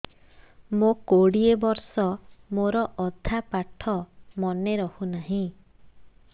ମୋ କୋଡ଼ିଏ ବର୍ଷ ମୋର ଅଧା ପାଠ ମନେ ରହୁନାହିଁ